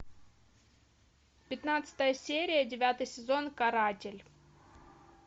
пятнадцатая серия девятый сезон каратель